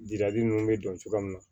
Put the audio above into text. Jirali ninnu bɛ don cogoya min na